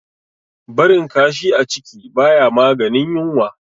Barin kashi a ciki baya maganin yunwa